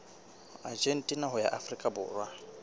argentina ho ya afrika borwa